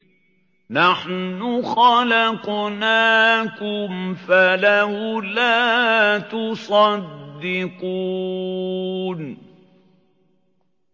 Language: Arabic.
نَحْنُ خَلَقْنَاكُمْ فَلَوْلَا تُصَدِّقُونَ